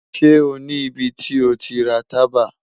Ṣe o ni ibiti o ti ra taba?